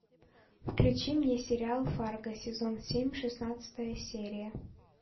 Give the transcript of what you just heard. включи мне сериал фарго сезон семь шестнадцатая серия